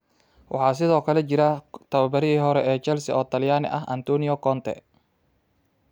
Waxaa sidoo kale jira tababarihii hore ee Chelsea oo talyanii ah Antonio Conte.